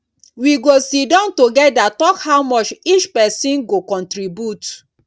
we go siddon togeda tok how much each pesin go contribute